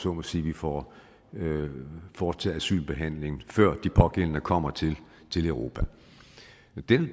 så må sige vi får foretaget asylbehandling før de pågældende kommer til europa